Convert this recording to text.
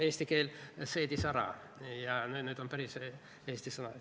Eesti keel seedis selle ära ja nüüd see on päris eesti sõna.